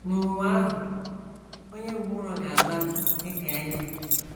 N’ụwa ahụ, “ onye ngwụrọ ga - amali dị ka ele. ”